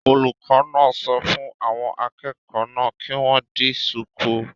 Olùkọ́ náà sọ fún àwọn akẹ́kọ̀ọ́ náà kí wọ́n di shùkú